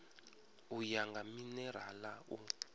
u ya nga minerala u